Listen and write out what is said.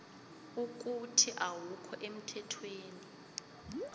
ukuthi awukho emthethweni